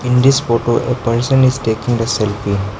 in this photo a person is taking the selfie.